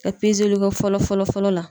Ka pezeliko fɔlɔ fɔlɔ fɔlɔ la